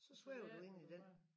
Så svæver du ind i den